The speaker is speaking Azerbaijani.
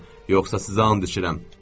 Yoxsa sizə and içirəm.